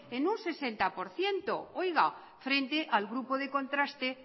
en un sesenta por ciento oiga frente al grupo de contraste